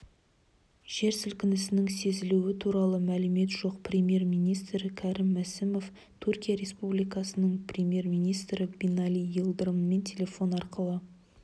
жер сілкінісінің сезілуі туралы мәлімет жоқ премьер-министрі крім мсімов түркия республикасының премьер-министрі бинали йылдырыммен телефон арқылы